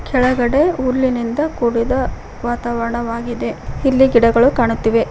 ಕೆಳಗಡೆ ಹುಲ್ಲಿನಿಂದ ಕೂಡಿದ ವಾತಾವರಣವಾಗಿದೆ ಇಲ್ಲಿ ಗಿಡಗಳು ಕಾಣುತ್ತಿವೆ.